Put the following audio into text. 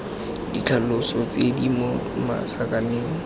ditlhaloso tse di mo masakaneng